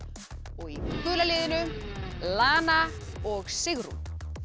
og í gula liðinu lana og Sigrún